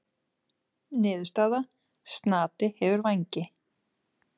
Niðurstaða: Snati hefur vængi.